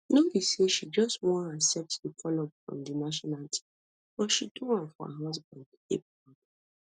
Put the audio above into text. no be say she just wan accept di call up from di national team but she do am for her husband to dey proud